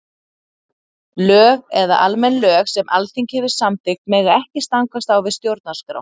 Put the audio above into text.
Lög eða almenn lög sem Alþingi hefur samþykkt mega ekki stangast á við stjórnarskrá.